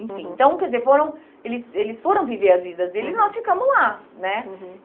Enfim, uhum, então, quer dizer, eles eles foram viver as vidas deles, uhum, e nós ficamos lá, né?